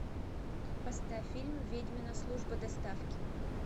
поставь фильм ведьмина служба доставки